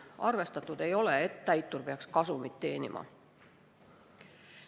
Arvestatud ei ole seda, et täitur peaks kasumit teenima.